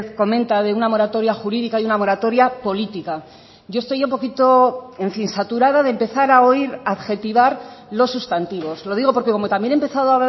comenta de una moratoria jurídica y una moratoria política yo estoy un poquito en fin saturada de empezar a oír adjetivar los sustantivos lo digo porque como también he empezado